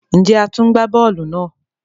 Njé a tún gbà bóòlù náà?